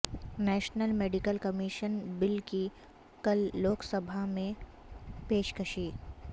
national medical commission bill کی کل لوک سبھا میں پیشکشی